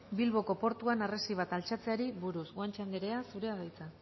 bilboko portuan harresi bat altxatzeari buruz guanche andrea zurea da hitza